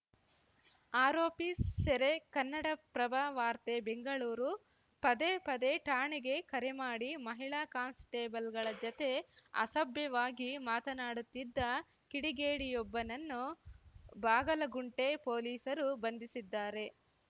ಆರೋಪಿ ಸೆರೆ ಕನ್ನಡಪ್ರಭ ವಾರ್ತೆ ಬೆಂಗಳೂರು ಪದೇ ಪದೇ ಠಾಣೆಗೆ ಕರೆ ಮಾಡಿ ಮಹಿಳಾ ಕಾನ್‌ಸ್ಟೇಬಲ್‌ಗಳ ಜತೆ ಅಸಭ್ಯವಾಗಿ ಮಾತನಾಡುತ್ತಿದ್ದ ಕಿಡಿಗೇಡಿಯೊಬ್ಬನನ್ನು ಬಾಗಲಗುಂಟೆ ಪೊಲೀಸರು ಬಂಧಿಸಿದ್ದಾರೆ